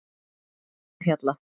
Fífuhjalla